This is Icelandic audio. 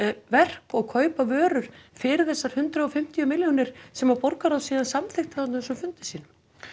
verk og kaupa vörur fyrir þessar hundrað og fimmtíu milljónir sem borgarráð síðan samþykkti á þessum fundi sínum